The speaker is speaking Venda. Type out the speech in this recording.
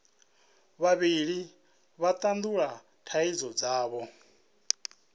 vhavhili vha tandulula thaidzo dzavho